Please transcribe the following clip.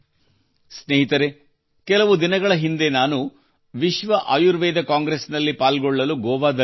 ಸ್ನೇಹಿತರೇ ಕೆಲವು ದಿನಗಳ ಹಿಂದೆ ನಾನು ವಿಶ್ವ ಆಯುರ್ವೇದ ಕಾಂಗ್ರೆಸ್ ನಲ್ಲಿ ಪಾಲ್ಗೊಳ್ಳಲು ಗೋವಾದಲ್ಲಿದ್ದೆ